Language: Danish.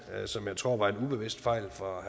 som jeg tror var en ubevidst fejl fra